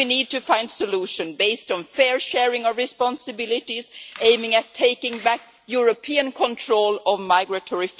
We need to find a solution based on the fair sharing of responsibilities, aiming at taking back European control of migratory flows and